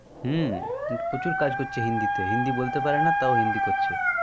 হম প্রচুর কাজ করছে হিন্দিতে হিন্দি বলতে পারেনা তও হিন্দি করছে